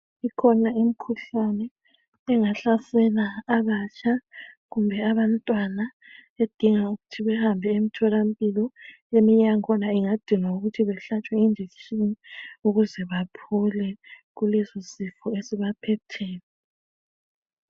ikhona imkhuhlane engahlasela abatsha kumbe abantwana edinga ukuthi behambe emtholampilo eminye yakhona ingadinga ukuthi behlatshwe i injection ukuze baphole kuleso sifo esibaphetheyo